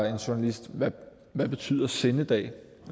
en journalist hvad betyder sindedag